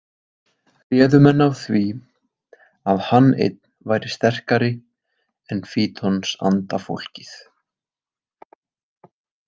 Réðu menn af því að hann einn væri sterkari en fítonsandafólkið.